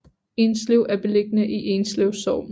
Enslev er beliggende i Enslev Sogn